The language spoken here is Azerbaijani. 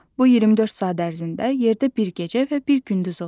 Bu 24 saat ərzində yerdə bir gecə və bir gündüz olur.